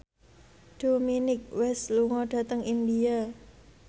Dominic West lunga dhateng India